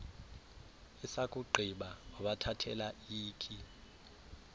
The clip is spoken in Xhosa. esakugqiba wabathathela ikhi